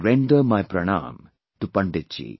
I render my pranam to Pandit ji